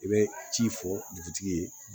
I bɛ ci fɔ dugutigi ye